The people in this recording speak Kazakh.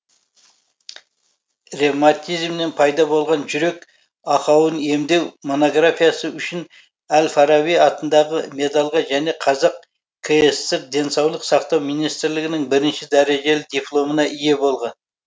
ревматизмнен пайда болған жүрек ақауын емдеу монографиясы үшін әл фараби атындағы медальға және қазақ кср денсаулық сақтау министрлігінің бірінші дәрежелі дипломына ие болған